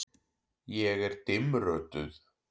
Ég er dimmrödduð.